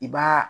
I b'a